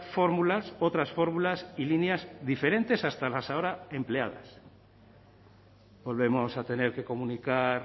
fórmulas otras fórmulas y líneas diferentes hasta las ahora empleadas volvemos a tener que comunicar